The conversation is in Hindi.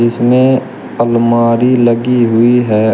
इसमें अलमारी लगी हुई है।